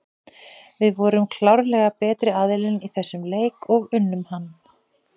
Við vorum klárlega betri aðilinn í þessum leik og unnum hann.